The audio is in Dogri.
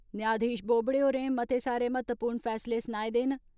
न्याशधीश बोबड़े होरें मतेत सारे महत्वपूर्ण फैसले सनाए दे न।